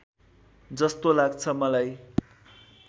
जस्तो लाग्छ मलाई